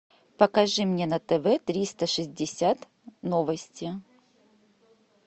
покажи мне на тв триста шестьдесят новости